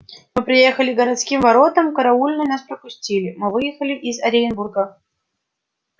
мы приехали к городским воротам караульные нас пропустили мы выехали из оренбурга